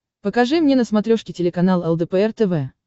покажи мне на смотрешке телеканал лдпр тв